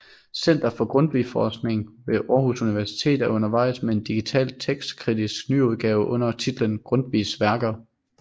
Center for Grundtvigforskning ved Aarhus Universitet er undervejs med en digital tekstkritisk nyudgave under titlen Grundtvigs Værker